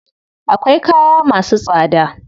Akwai kaya masu tsada.